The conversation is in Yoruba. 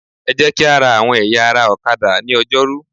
Ẹ jẹ́ kí á ra àwọn ẹ̀yà ara ọ̀kadà ní Ọjọ́rú.